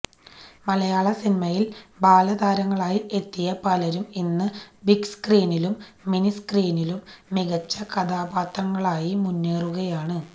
മലയാള സിനിമയില് ബാലതാരങ്ങളായി എത്തിയ പലരും ഇന്ന് ബിഗ്സ്ക്രീനിലും മിനിസ്ക്രീനിലും മികച്ച കഥാപാത്രങ്ങളായി മുന്നേറുകയാണ്